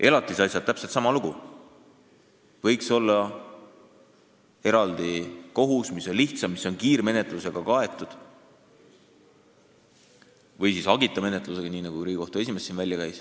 Elatisasjadega on täpselt sama lugu: võiks olla eraldi kohus, mis käib lihtsamalt, kus on kiirmenetlus või siis hagita menetlus, nii nagu Riigikohtu esimees siin välja käis.